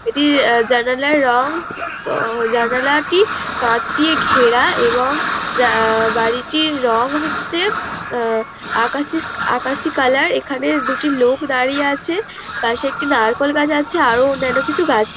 এটি জানালার রং তো জানালাটি কাচ দিয়ে ঘেরা এবং বাড়িটির রং হচ্ছে উমম আকাশি কালার । এইখানে দুটি লোক দাঁড়িয়ে আছে পাশে একটি নারকেল গাছ আছে আরও অন্যান্য কিছু গাছ--